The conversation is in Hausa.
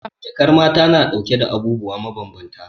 Jakar mata na dauke da abubuwa mabambanta.